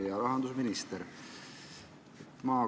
Hea rahandusminister!